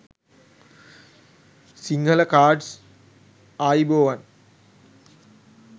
sinhala cards ayubowan